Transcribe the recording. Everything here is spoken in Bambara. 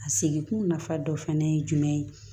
A seginkun nafa dɔ fɛnɛ ye jumɛn ye